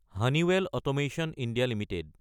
Honeywell automation India Ltd